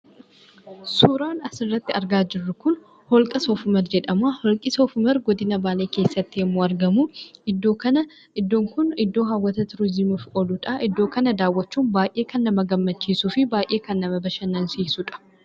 Suuraan asirratti argaa jirru kun holqa Soof-umar jedhama. Holqi Soof-umar godina Baalee keessatti yemmuu argamu, iddoon kun iddoo hawwata "tuuriizimii"f ooluudha. Iddoo kana daawwachuun baay'ee kan nama gammachiisuu fi baay'ee kan nama bashannansiisuudha.